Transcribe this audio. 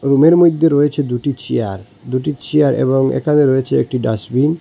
রুমের মইধ্যে রয়েছে দুটি চেয়ার দুটি চেয়ার এবং এখানে রয়েছে একটি ডাস্টবিন ।